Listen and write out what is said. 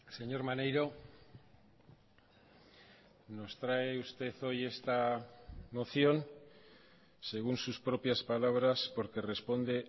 señor maneiro nos trae usted hoy esta moción según sus propias palabras porque responde